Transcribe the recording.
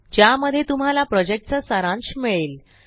ज्यामध्ये तुम्हाला प्रॉजेक्टचा सारांश मिळेल